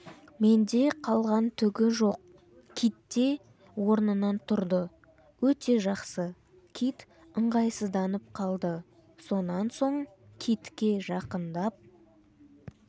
менде қалған түгі жоқ китте орнынан тұрды өте жақсы кит ыңғайсызданып қалды сонан соң китке жақындап